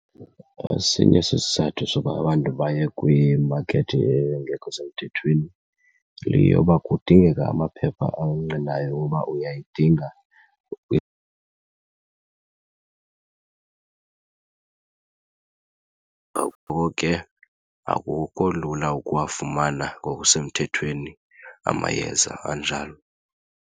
Esinye sesizathu soba abantu baye kwimakethi engekho semthethweni yeyoba kudingeka amaphepha angqinayo woba uyayidinga , ngoko ke akukho lula ukuwafumana ngokusemthethweni amayeza anjalo.